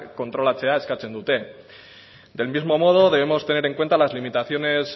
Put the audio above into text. kontrolatzea eskatzen dute del mismo modo debemos tener en cuenta las limitaciones